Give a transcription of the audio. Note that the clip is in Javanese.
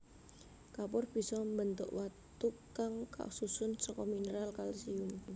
Kapur bisa mbentuk watu kang kasusun saka mineral kalsium